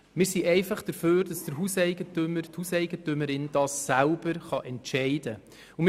Wir sind einfach der Meinung, dass der Hauseigentümer, die Hauseigentümerin selber darüber entscheiden kann.